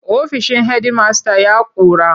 Ofishin hedimasta ya ƙura.